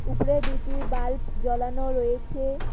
উপরে দুইটি বাল্ব জ্বলানো রয়েছে।